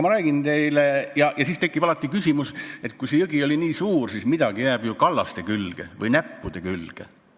Siis tekib küsimus, et kui jõgi on nii suur, siis midagi jääb ju kallaste või näppude külge.